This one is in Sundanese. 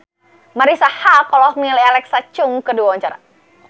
Marisa Haque olohok ningali Alexa Chung keur diwawancara